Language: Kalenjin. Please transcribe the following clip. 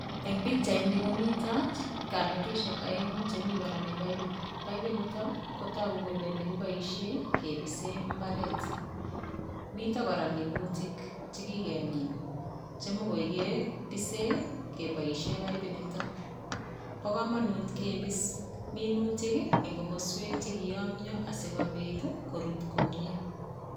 En pichaini komito kamatishek oeng'u chemi konome baibut. Baibut niton ko togu kole nekiboishen kebisen mbaret miten koraa minutik che kigemin che ketisen keboishen baibut niton bo komonut kebis minutik en komoswek che kiyomnyo asikobit korut komie.